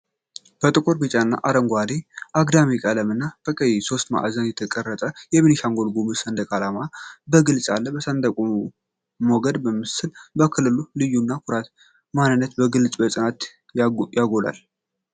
በጥቁር፣ ቢጫና አረንጓዴ አግዳሚ ቀለማት እና በቀይ ሦስት ማዕዘን የተዋቀረው የቤኒሻንጉል ጉሙዝ ክልል ሰንደቅ ዓላማ በግልጽ አለ። የሰንደቁ ሞገድ መምሰል የክልሉን ልዩነት፣ ኩራትና ማንነት በግልጽና በጽናት ያጎላል።